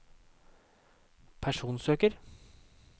personsøker